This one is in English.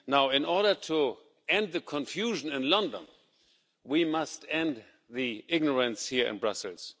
In order to end the confusion in London, we must end the ignorance here in Brussels.